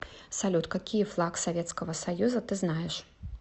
салют какие флаг советского союза ты знаешь